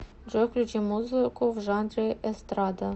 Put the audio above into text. джой включи музыку в жанре эстрада